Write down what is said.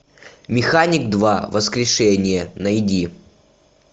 механик два воскрешение найди